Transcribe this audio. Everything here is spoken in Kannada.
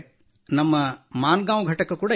ನಮ್ಮ ಮಾನ್ಗಾಂ ವ್ ಘಟಕ ಕೂಡ ಇದೆ